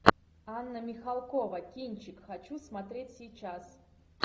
анна михалкова кинчик хочу смотреть сейчас